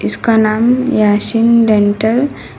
इसका नाम याशीन डेंटल --